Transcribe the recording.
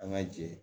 An ka jɛ